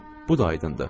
Bu da aydındır.